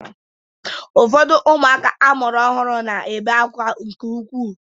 Ụfọdụ ụmụaka amụrụ ọhụrụ na-ebe akwa nke ukwuu.